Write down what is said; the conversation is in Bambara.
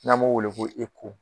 N'a m'o wele ko